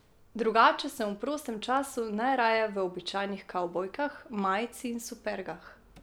Drugače sem v prostem času najraje v običajnih kavbojkah, majici in supergah.